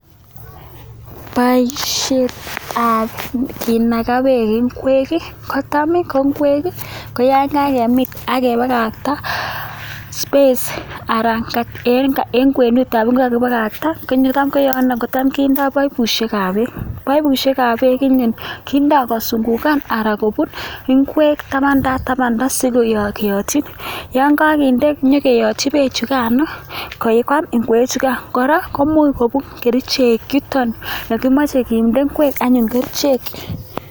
Boisietab kinaka beek ingwek kotam ko ingwek ko yon kakemiin akepakakta space anan eng kwenutab ingwek ko kakipakta, eng yu ra kotam kindoi paipishekab beek. Paipushekab beek eng yu kindo kosungukan anan kobun ingwek tabanda sinyo keyotiin, yon kakinde pekoyotin beek chukano koi kwaam ingwek chukai. Kora komuch kerichek yuton yekimeche kende ingwek anyun kerichek.